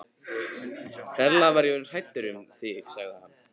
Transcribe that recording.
Ferlega var ég orðinn hræddur um þig sagði hann.